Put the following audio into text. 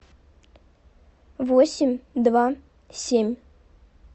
восемь два семь